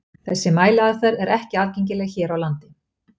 Þessi mæliaðferð er ekki aðgengileg hér á landi.